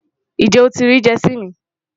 Njẹ́ o ti riì Jersey mi?